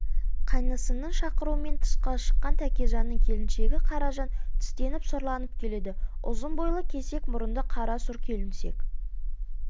қайнысының шақыруымен тысқа шыққан тәкежанның келіншегі қаражан тістеніп сұрланып келеді ұзын бойлы кесек мұрынды қара сұр келіншек